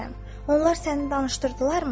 Onlar səni danışdırdılarmı?